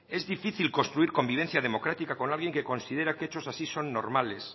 es difícil construir convivencia democrática con alguien que considera que hechos así son normales